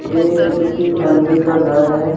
ये किसी अमीर का घर है।